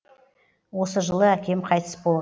осы жылы әкем қайтыс бо